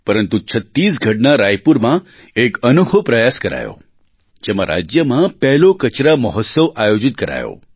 પરંતુ છત્તીસગઢના રાયપુરમાં એક અનોખો પ્રયાસ કરાયો જેમાં રાજ્યમાં પહેલો કચરા મહોત્સવ આયોજિત કરાયો